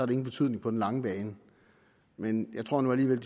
det ingen betydning på den lange bane men jeg tror nu alligevel